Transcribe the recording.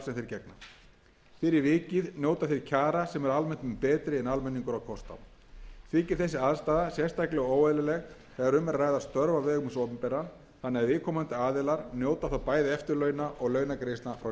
gegna fyrir vikið njóta þeir kjara sem eru almennt mun betri en almenningur á kost á þykir þessi aðstaða sérstaklega óeðlileg þegar um er að ræða störf á vegum hins opinbera þannig að viðkomandi aðilar njóta þá bæði eftirlauna og launagreiðslna frá ríkinu með